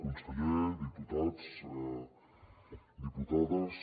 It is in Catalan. conseller diputats diputades